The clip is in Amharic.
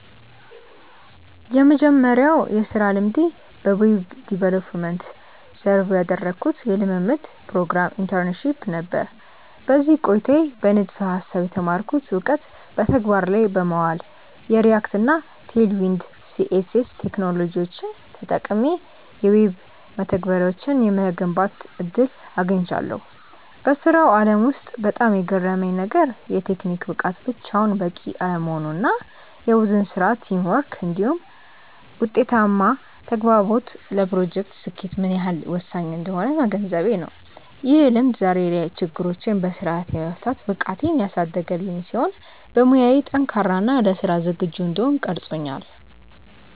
የመጀመሪያው የሥራ ልምዴ በዌብ ዲቨሎፕመንት (Web Development) ዘርፍ ያደረግኩት የልምምድ ፕሮግራም (Internship) ነበር። በዚህ ቆይታዬ በንድፈ-ሐሳብ የተማርኩትን እውቀት በተግባር ላይ በማዋል፣ የReact እና Tailwind CSS ቴክኖሎጂዎችን ተጠቅሜ የዌብ መተግበሪያዎችን የመገንባት ዕድል አግኝቻለሁ። በሥራው ዓለም ውስጥ በጣም የገረመኝ ነገር፣ የቴክኒክ ብቃት ብቻውን በቂ አለመሆኑ እና የቡድን ሥራ (Teamwork) እንዲሁም ውጤታማ ተግባቦት ለፕሮጀክቶች ስኬት ምን ያህል ወሳኝ እንደሆኑ መገንዘቤ ነው። ይህ ልምድ ዛሬ ላይ ችግሮችን በሥርዓት የመፍታት ብቃቴን ያሳደገልኝ ሲሆን፣ በሙያዬ ጠንካራ እና ለሥራ ዝግጁ እንድሆን ቀርጾኛል።